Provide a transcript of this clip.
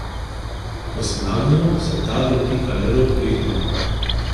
Ko se nagnemo, se tal dotika le rob dveh nog.